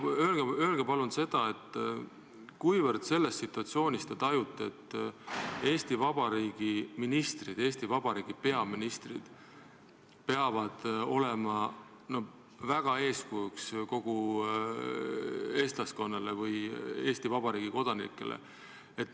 Öelge palun, kuivõrd te selles situatsioonis tajute, et Eesti Vabariigi ministrid, Eesti Vabariigi peaministrid peavad väga olema eeskujuks kogu eestlaskonnale või Eesti Vabariigi kodanikele.